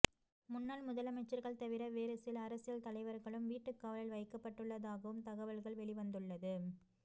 முன்னாள் முதலமைச்சர்கள் தவிர வேறு சில அரசியல் தலைவர்களும் வீட்டுக்காவலில் வைக்கப்பட்டுள்ளதாகவும் தகவல்கள் வெளிவந்துள்ளது